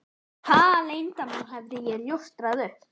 Hvaða leyndarmáli hafði ég ljóstrað upp?